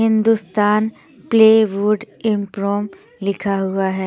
Hindustan plywood इम्प्रोम लिखा हुआ है।